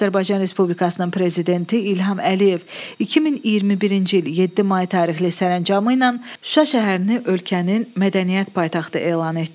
Azərbaycan Respublikasının prezidenti İlham Əliyev 2021-ci il 7 may tarixli sərəncamı ilə Şuşa şəhərini ölkənin mədəniyyət paytaxtı elan etdi.